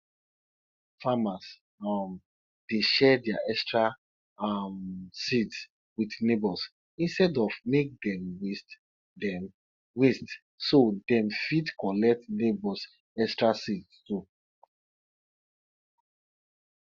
farmers um dey share dia extra um seeds with neighbours instead of make dem waste dem waste so dem fit collect neighbours extra seeds too